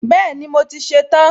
Bẹ́ẹ̀ni, mo ti ṣe tán